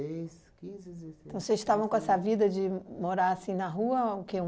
quinze, dezesseis... Então vocês estavam com essa vida de morar assim na rua, o quê?